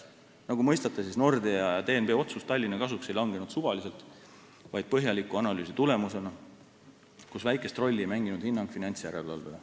Nagu mõistate, Nordea ja DNB otsus Tallinna kasuks ei langenud suvaliselt, vaid põhjaliku analüüsi tulemusena, kus väikest rolli ei mänginud hinnang finantsjärelevalvele.